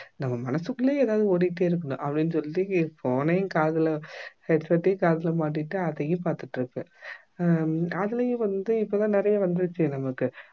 நம்ம மனசுக்குள்ளேயே எதாவது ஓடிக்கிட்டே இருக்கணும் அப்படின்னு சொல்லி phone யும் காதுல headset யும் காதுல மாட்டிகிட்டு அதையும் பார்த்திட்டிருப்பேன் ஹம் அதுலயும் வந்து இப்ப தான் நிறைய வந்துடுச்சே நமக்கு